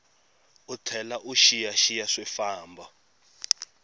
u tlhela u xiyaxiya swifambo